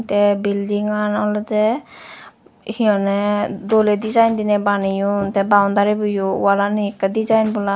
tey bildingan oleydey he honey doley dejaen deney baneyun tey boundaribo yo walane yo okrey dejaen bola.